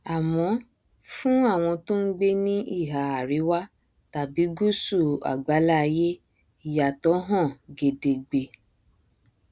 ló bá ń sọ àwọn òyìnbó ẹgbẹ tó máa um ń sọ yẹn àwọn òyìnbó tí ó gbowó jáde um níbì kan